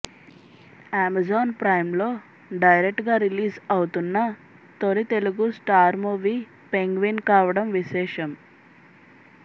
Amazon Prime లో direct గా release అవుతున్న తొలి తెలుగు స్టార్ మూవీ పెంగ్వీన్ కావడం విశేషం